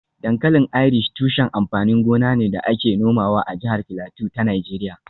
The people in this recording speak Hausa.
Dankalin Irish tushen amfanin gona ne da ake nomawa a jihar Filato ta Najeriya